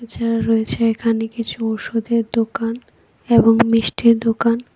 যার রয়েছে এখানে কিছু ওষুধের দোকান এবং মিষ্টির দোকান।